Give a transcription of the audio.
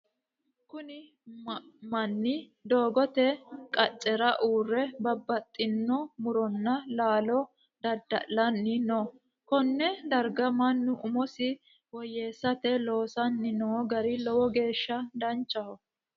Kunni manni dogoote qacera uure babbaxino muronna laallo dada'lanni no. Konne darga mannu umosi woyeesate loosanni noo gari lowo geesha danchaho.